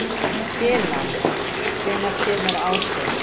Kinan, hvenær kemur ásinn?